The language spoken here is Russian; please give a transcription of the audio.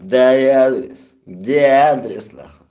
дай адрес где адрес на хуй